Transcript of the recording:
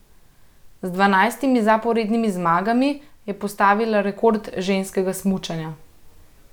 Z dvanajstimi zaporednimi zmagami je postavila rekord ženskega smučanja.